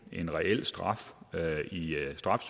en reel straf reel straf